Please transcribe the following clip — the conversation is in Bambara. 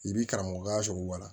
I b'i karamɔgɔya sɔrɔ wa